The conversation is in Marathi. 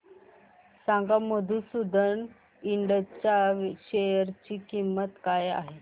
सांगा मधुसूदन इंड च्या शेअर ची किंमत काय आहे